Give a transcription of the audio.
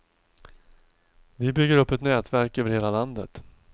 Vi bygger upp ett nätverk över hela landet.